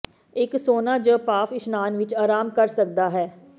ਇਕ ਸੌਨਾ ਜ ਭਾਫ਼ ਇਸ਼ਨਾਨ ਵਿਚ ਆਰਾਮ ਕਰ ਸਕਦਾ ਹੈ